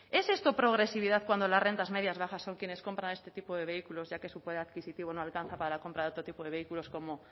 es esto progresividad cuando las rentas medias bajas son quienes compran este tipo de vehículos ya que su poder adquisitivo no alcanza para la compra de otro tipo de vehículos como